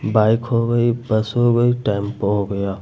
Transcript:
Bike हो गई bus हो गई टेंपो हो गया।